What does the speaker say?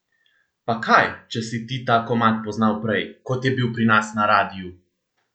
Pa kaj, če si ti ta komad poznal prej, kot je bil pri nas na radiu!